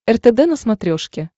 ртд на смотрешке